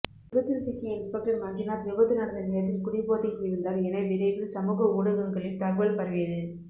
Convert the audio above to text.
விபத்தில் சிக்கிய இன்ஸ்பெக்டர் மஞ்சுநாத் விபத்து நடந்த நேரத்தில் குடிபோதையில் இருந்தார் என விரைவில் சமூக ஊடகங்களில் தகவல் பரவியது